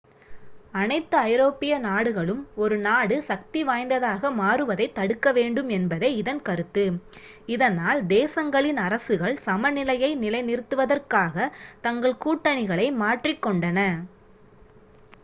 அனைத்து ஐரோப்பிய நாடுகளும் ஒரு நாடு சக்திவாய்ந்ததாக மாறுவதைத் தடுக்கவேண்டும் என்பதே இதன் கருத்து இதனால் தேசங்களின் அரசுகள் சமநிலையை நிலைநிறுத்துவதற்காக தங்கள் கூட்டணிகளை மாற்றிக்கொண்டன